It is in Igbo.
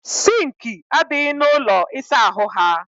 Sinki adịghị na ụlọ ịsa ahụ ha